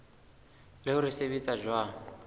le hore se sebetsa jwang